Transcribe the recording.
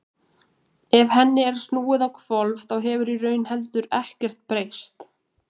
ef henni er snúið á hvolf þá hefur í raun heldur ekkert breyst